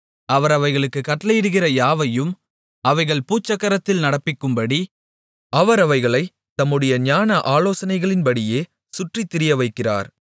அவர் அவைகளுக்குக் கட்டளையிடுகிற யாவையும் அவைகள் பூச்சக்கரத்தில் நடப்பிக்கும்படி அவர் அவைகளைத் தம்முடைய ஞான ஆலோசனைகளின்படியே சுற்றித் திரியவைக்கிறார்